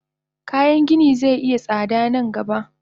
Kayan gini ze iya tsada nan gaba.